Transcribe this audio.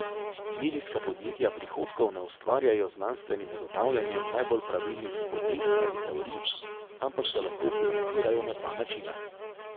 Medijska podjetja prihodkov ne ustvarjajo z znanstvenim ugotavljanjem najbolj pravilnih hipotez ali teorij, ampak se lahko financirajo na dva načina.